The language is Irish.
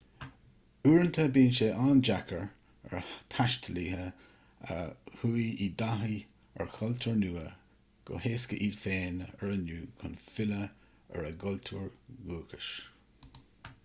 uaireanta bíonn sé an-deacair ar thaistealaithe a chuaigh i dtaithí ar chultúr nua go héasca iad féin a oiriúnú chun filleadh ar a gcultúr dúchais